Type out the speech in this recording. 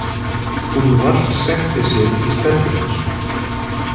Úlfar setti sig í stellingar.